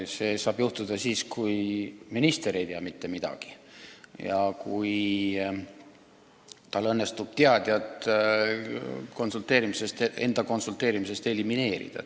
See saab kõne alla tulla siis, kui minister ei tea mitte midagi ja tal õnnestub teadja inimene enda konsulteerimisest elimineerida.